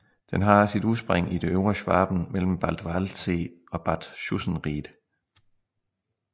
Den har sit udspring i det øvre Schwaben mellem Bad Waldsee og Bad Schussenried